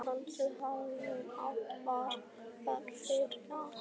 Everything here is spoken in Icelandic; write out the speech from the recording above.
Kannski hafði hún átt barn þrátt fyrir allt.